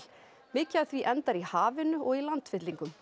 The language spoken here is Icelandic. mikið af því endar í hafinu og í landfyllingum